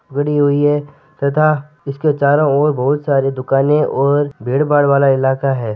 बड़ी हुई है तथा इसके चारो और बहुत सारी दुकान और भीड़ भाड वाला इलाका है।